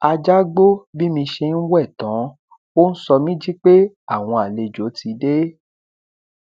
ajá gbó bí mi ṣe ń wẹ tán ó ń sọ mí jí pé àwọn àlejò ti dé